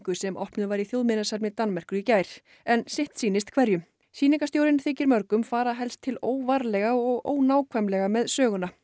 sem opnuð var í Danmerkur í gær en sitt sýnist hverjum þykir mörgum fara helst til óvarlega og ónákvæmlega með söguna